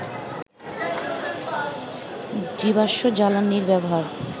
জীবাশ্ম জ্বালানির ব্যবহার